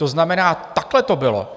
To znamená, takhle to bylo.